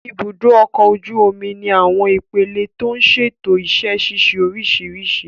Ibùdó ọkọ̀ ojú omi ní àwọn ipele tí ń ṣètò iṣẹ́ ṣíṣe oríṣiríṣi